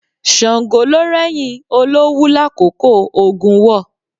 Ṣàngó ló rẹ́yìn Olówú lákòókò ogun war.